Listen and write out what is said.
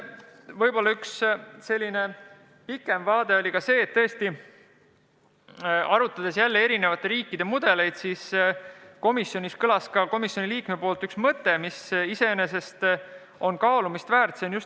Ja üks selline pikema perspektiiviga aruteluteema oli see, et arvestades eri riikide mudeleid, käis üks komisjoni liige välja mõtte, mis iseenesest on kaalumist väärt.